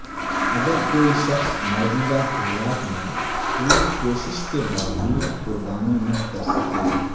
اگرکوئی شخص موجودہ حالات میں پوری کوشش کے باوجود قربانی نہ کر سکے